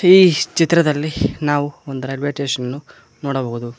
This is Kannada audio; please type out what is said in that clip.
ಈ ಚಿತ್ರದಲ್ಲಿ ನಾವು ಒಂದು ರೈಲ್ವೆ ಸ್ಟೇಷನ್ ಅನ್ನು ನೋಡಬಹುದು.